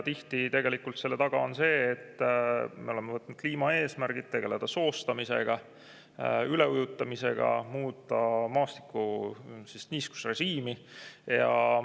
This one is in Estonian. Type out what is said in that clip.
" Tihti on selle taga see, et me oleme võtnud kliimaeesmärgid: tegeleme soostamisega, üleujutamisega, muudame maastiku niiskusrežiimi.